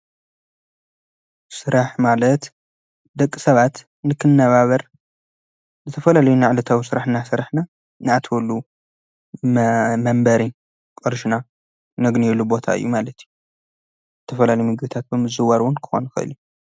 ስራሕ ማለት ደቂ ሰባት ንክንነባበር ዝተፈላለዩ ዕለታዊ ስራሕና እናሰራሕና ንኣትወሉ መንበሪ ቅርሽና ነግንየሉ ቦታ እዩ ማለት እዩ። ዝተፈላለዩ ምግብታት ብምዝውዋር'ውን ክኾውን ይክእል እዩ።